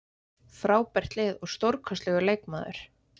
Frábært lið og stórkostlegur leikmaður!